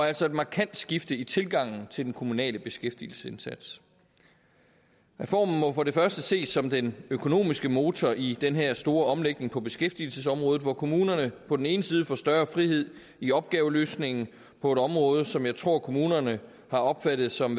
altså et markant skifte i tilgangen til den kommunale beskæftigelsesindsats reformen må for det første ses som den økonomiske motor i den her store omlægning på beskæftigelsesområdet hvor kommunerne på den ene side får større frihed i opgaveløsningen på et område som jeg tror kommunerne har opfattet som